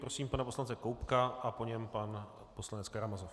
Prosím pana poslance Koubka a po něm pan poslanec Karamazov.